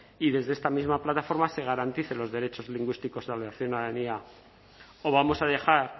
y desde esta misma plataforma se garanticen los derechos lingüísticos de la ciudadanía o vamos a dejar